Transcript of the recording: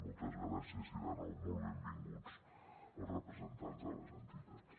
moltes gràcies i de nou molt benvinguts els representants de les entitats